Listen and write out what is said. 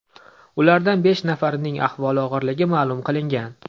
Ulardan besh nafarining ahvoli og‘irligi ma’lum qilingan.